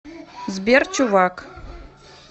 сбер чувак